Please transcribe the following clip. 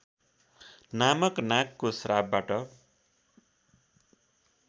नामक नागको श्रापबाट